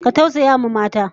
Ku tausayawa mata!